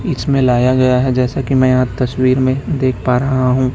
इसमें लाया गया है जैसा कि मैं यहां तस्वीर में देख पा रहा हूं।